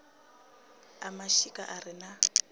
a mashika a re na